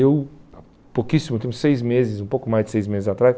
Eu, há pouquíssimo tempo, seis meses, um pouco mais de seis meses atrás,